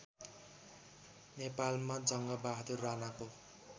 नेपालमा जङ्गबहादुर राणाको